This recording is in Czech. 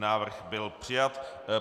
Návrh byl přijat.